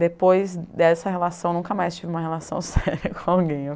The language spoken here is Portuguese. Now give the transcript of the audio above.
Depois dessa relação, nunca mais tive uma relação séria com alguém.